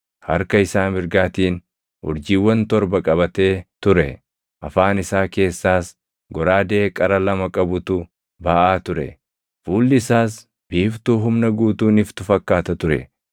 Harka isaa mirgaatiin urjiiwwan torba qabatee ture; afaan isaa keessaas goraadee qara lama qabutu baʼaa ture. Fuulli isaas biiftuu humna guutuun iftu fakkaata ture.